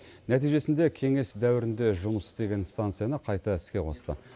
нәтижесінде кеңес дәуірінде жұмыс істеген станцияны қайта іске қосты